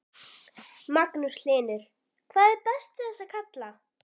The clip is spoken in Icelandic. Magnús Hlynur: Hvað er best við þessa kalla?